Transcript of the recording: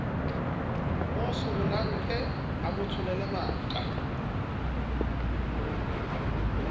mo sehollake a motsholele maqa